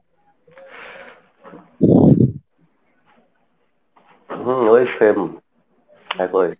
হম এই same